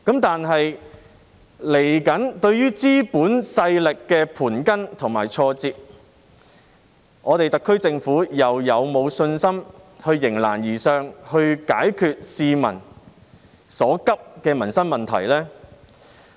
但是，對於資本勢力的盤根錯節，特區政府又是否有信心迎難而上，解決市民所急的民生問題呢？